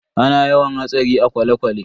Ana yawan hatsari a kwale-kwale.